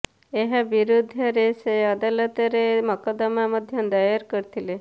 ଏହା ବିରୋଧରେ ସେ ଅଦାଲତରେ ମକଦ୍ଦମା ମଧ୍ୟ ଦାୟର କରିଥିଲେ